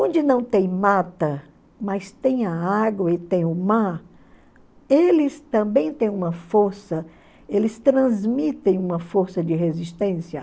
Onde não tem mata, mas tem a água e tem o mar, eles também têm uma força, eles transmitem uma força de resistência.